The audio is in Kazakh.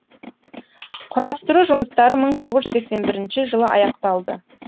құрастыру жұмыстары мың тоғыз жүз сексен бірінші жылы аяқталды